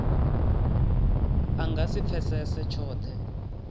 a nga si pfesese tshothe